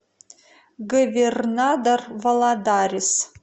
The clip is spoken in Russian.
говернадор валадарис